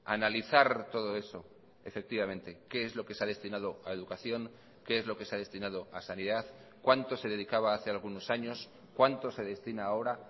analizar todo eso efectivamente qué es lo que se ha destinado a educación qué es lo que se ha destinado a sanidad cuánto se dedicaba hace algunos años cuánto se destina ahora